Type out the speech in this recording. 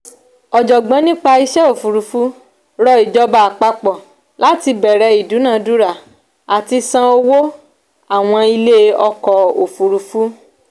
ọ̀jọ̀gbọ́n nípa ìṣe òfurufú rọ ìjọba àpapọ̀ láti bẹ̀rẹ̀ ìduna-dúra àti san owó àwọn ilé ọ̀kọ̀ òfurufú